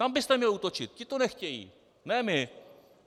Tam byste měli útočit, ti to nechtějí, ne my.